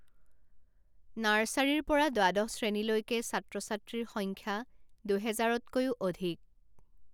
নাৰ্ছাৰীৰ পৰা দ্বাদশ শ্ৰেণীলৈকে ছাত্ৰ ছাত্ৰীৰ সংখ্যা দুহেজাৰতকৈও অধিক।